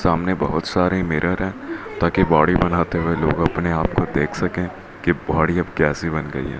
सामने बहुत सारे मिरर हैं ताकि बॉडी बनाते हुए लोग अपने आप को देख सकें कि बॉडी अब कैसी बन गई है।